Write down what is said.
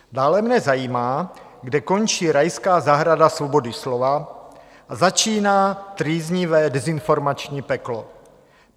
Dále mě zajímá, kde končí rajská zahrada svobody slova a začíná trýznivé dezinformační peklo.